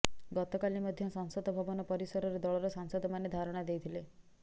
ଗତକାଲି ମଧ୍ୟ ସଂସଦ ଭବନ ପରିସରରେ ଦଳର ସାଂସଦ ମାନେ ଧାରଣା ଦେଇଥିଲେ